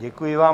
Děkuji vám.